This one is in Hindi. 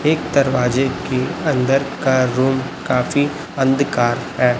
एक दरवाजे के अंदर का रूम काफी अंधकार है।